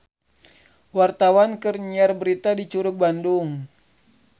Wartawan keur nyiar berita di Curug Bandung